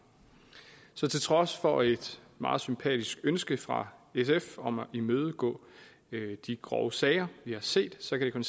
så til trods for et meget sympatisk ønske fra sf om at imødegå de grove sager vi har set så kan